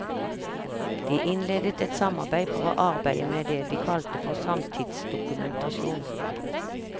De innledet et samarbeid for å arbeide med det de kalte for samtidsdokumentasjon.